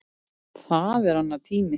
Það er annar tími.